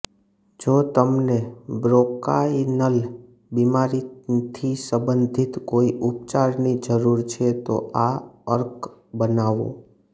જો તમને બ્રોંકાઇનલ બીમારીથી સંબંધિત કોઇ ઉપચારની જરૂર છે તો આ અર્ક બનાવો